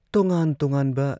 ꯇꯣꯉꯥꯟ ꯇꯣꯉꯥꯟꯕ